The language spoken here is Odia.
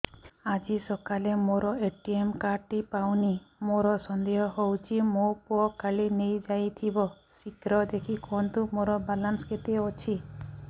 ଆଜି ସକାଳେ ମୋର ଏ.ଟି.ଏମ୍ କାର୍ଡ ଟି ପାଉନି ମୋର ସନ୍ଦେହ ହଉଚି ମୋ ପୁଅ କାଳେ ନେଇଯାଇଥିବ ଶୀଘ୍ର ଦେଖି କୁହନ୍ତୁ ମୋର ବାଲାନ୍ସ କେତେ ଅଛି